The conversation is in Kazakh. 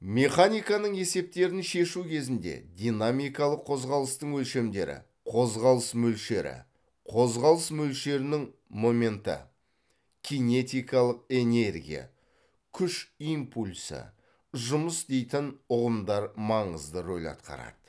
механиканың есептерін шешу кезінде динамикалық қозғалыстың өлшемдері қозғалыс мөлшері қозғалыс мөлшерінің моменті кинетикалық энергия күш импульсі жұмыс дейтін ұғымдар маңызды рөл атқарады